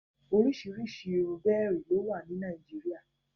Òròsírísí irú bèèrì ló wà ní Nàìjíríà